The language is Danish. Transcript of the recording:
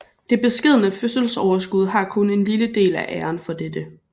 Det beskedne fødselsoverskud har kun en lille del af æren for dette